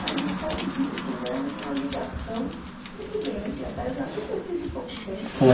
Mas isso é um vínculo, é uma ligação muito grande, apesar de ter sido pouco tempo, né?